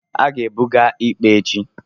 a ga-ebuga ikpe echi